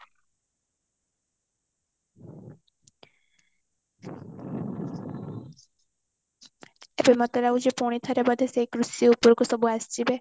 ମତେ ଲାଗୁଛି ପୁଣି ଥରେ ବୋଧେ ସେଇ କୃଷି ଉପରକୁ ସମସ୍ତେ ଆସିଯିବେ